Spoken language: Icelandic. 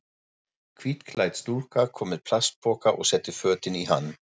Hvítklædd stúlka kom með plastpoka og setti fötin í hann.